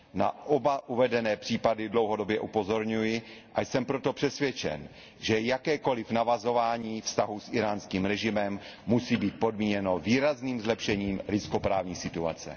Na oba uvedené případy dlouhodobě upozorňuji a jsem proto přesvědčen, že jakékoliv navazování vztahů s íránským režimem musí být podmíněno výrazným zlepšením lidskoprávní situace.